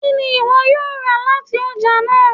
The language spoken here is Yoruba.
Kini iwọ yoo ra lati ọja naa?